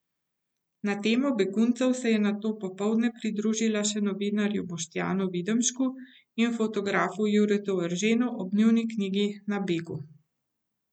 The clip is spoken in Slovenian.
Na temo beguncev se je nato popoldne pridružila še novinarju Boštjanu Videmšku in fotografu Juretu Erženu ob njuni knjigi Na begu.